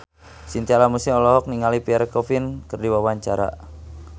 Chintya Lamusu olohok ningali Pierre Coffin keur diwawancara